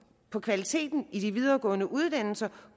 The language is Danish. på kvaliteten i de videregående uddannelser